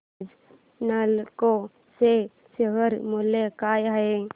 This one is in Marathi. आज नालको चे शेअर मूल्य काय आहे